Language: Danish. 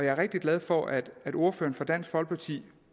er rigtig glad for at ordføreren for dansk folkeparti